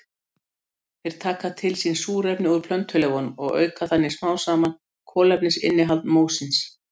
Þeir taka til sín súrefni úr plöntuleifunum og auka þannig smám saman kolefnisinnihald mósins.